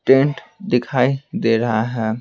Tent दिखाई दे रहा है।